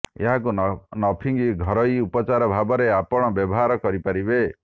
ଏହାକୁ ନଫିଙ୍ଗି ଘରୋଇ ଉପଚାର ଭାବରେ ଆପଣ ବ୍ୟବହାର କରିପାରିବେ